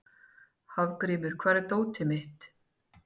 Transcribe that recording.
Hafgrímur, hvar er dótið mitt?